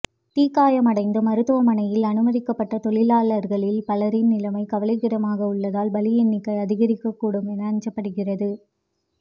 தீ காயமடைந்து மருத்துவமனையில் அனுமதிக்கப்பட்ட தொழிலாளர்களில் பலரின் நிலைமை கவலைக்கிடமாக உள்ளதால் பலி எண்ணிக்கை அதிகரிக்கக் கூடும் என அஞ்சப்படுகிறது